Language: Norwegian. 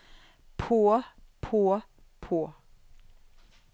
på på på